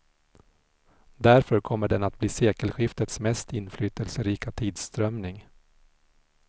Därför kommer den att bli sekelskiftets mest inflytelserika tidsströmning.